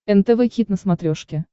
нтв хит на смотрешке